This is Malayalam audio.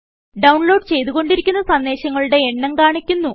ഡൌൺലോഡ് ചെയ്തുകൊണ്ടിരിക്കുന്ന സന്ദേശങ്ങളുടെ എണ്ണം കാണിക്കുന്നു